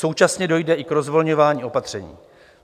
Současně dojde i k rozvolňování opatření.